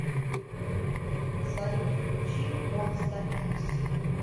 салют включи монста икс